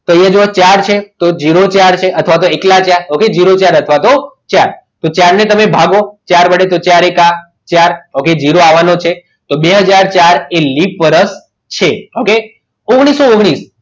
તો અહીંયા જુઓ ચાર છે અથવા તો એકલા ચાર ઓકે ઝીરો ચાર અથવા તો ઝીરો ચાર તો ચારને તમે ભાગો તો ચાર એકા ચાર okay ઝીરો આવવાનો છે તો બે હાજર ચાર એ લિપ વર્ષ છે okay ઓગણીસો ઓગ્નીશ